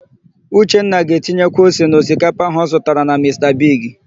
Uchenna ga-etinyekwu ose na osikapa áhụ̀ ọ zụtara na Mista Bigi.